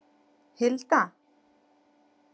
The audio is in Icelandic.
Hilda